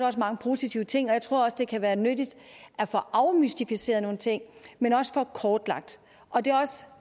også mange positive ting og jeg tror det kan være nyttigt at få afmystificeret nogle ting men også få dem kortlagt